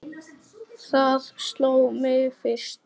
Það sló mig fyrst.